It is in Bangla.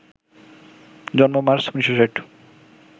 জন্ম মার্চ ১৯৬০